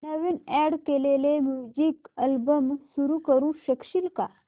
नवीन add केलेला music album सुरू करू शकशील का